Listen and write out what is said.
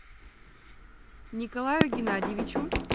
николаю геннадьевичу